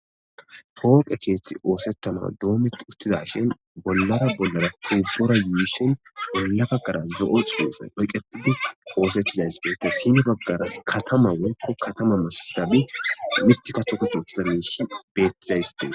Pooqe keetji osetanasi doometi utidashn , bollara bollara tobora yuusheni bolla bagara zo'o xufeni oyketidi oosetizaysi betesi sin bagara katama woykon katama masatizabi mithika toketiza mishi betezaysi desi.